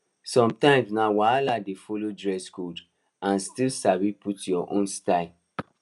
sometimes na wahala to dey follow dress code and still sabi put your own style